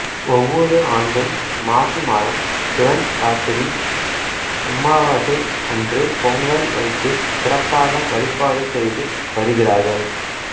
ஒவ்வொரு ஆண்டும் மாசி மாதம் சிவன் ராத்திரி அம்மாவாசை அன்று பொங்கல் வைத்து சிறப்பாக வழிபாடு செய்து வருகிறார்கள்